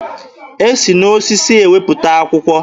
E si n'osisi ewepụta akwụkwọ.